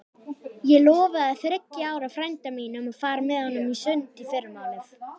Ég lofaði þriggja ára frænda mínum að fara með honum í sund í fyrramálið.